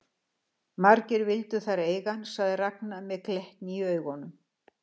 Margar vildu þær eiga hann, segir Ragna með glettni í augunum.